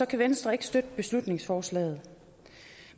kan venstre ikke støtte beslutningsforslaget